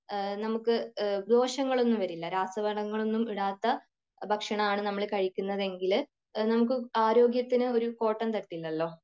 നമുക്ക് ദോഷങ്ങൾ ഒന്നും വരില്ല രാസവളങ്ങളൊന്നും ഇടാത്ത ഭക്ഷണം ആണ് നമ്മൾ കഴിക്കുന്നതെങ്കിൽ അത് നമുക്ക് ആരോഗ്യത്തിന് ഒരു കോട്ടം തട്ടില്ലല്ലോ.